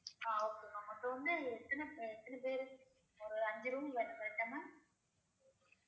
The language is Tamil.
ஆஹ் okay ma'am மொத்தம் வந்து எத்தன எத்தன்ன பேரு ஒரு அஞ்சு room வேணும் correct ஆ ma'am